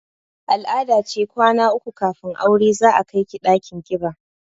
Al-ada ce kwana uku kafin aure za a kai ki ɗakin ƙiba